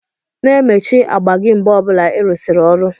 Na-emechi agba gi mgbe ọbula irusiri ọrụ